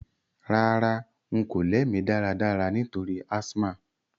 Rárá, n ko lẹ́ mí dáradára nítorí asthma